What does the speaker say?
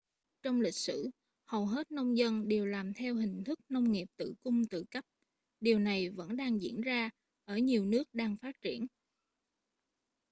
trong lịch sử hầu hết nông dân đều làm theo hình thức nông nghiệp tự cung tự cấp điều này vẫn đang diễn ra ở nhiều nước đang phát triển